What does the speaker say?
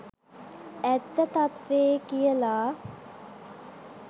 ඇත්ත තත්ත්වේ කියලා